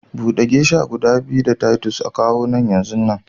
bude geisha guda biyu da Titus a kawo nan yanzunnan